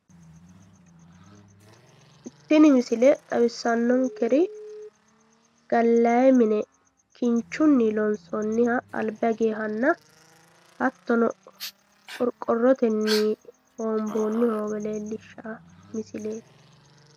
Tini misile xawissannonkeri gallayi mine kinchunni loonsoonniha alba higewohanna qorqorrotenni hoomboonni hoowe leellishshanno misileeti.